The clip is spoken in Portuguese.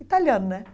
Italiano, não é?